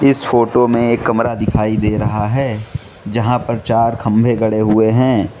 इस फोटो में एक कमरा दिखाई दे रहा है जहां पर चार खंभे गड़े हुए हैं।